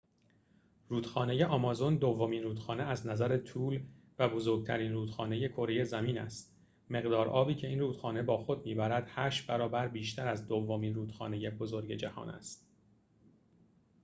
رودخانه آمازون دومین رودخانه از نظر طول و بزرگترین رودخانه کره زمین است مقدار آبی که این رودخانه با خود می‌برد ۸ برابر بیشتر از دومین رودخانه بزرگ جهان است